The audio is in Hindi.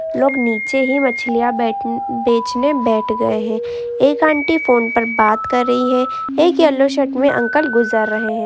लोग नीचे ही मछलिया बैठ बेचने बैठ गयें है | एक आंटी फ़ोन पर बात कर रहीं हैं। एक अंकल येलो शर्ट में गुज़र रहें हैं।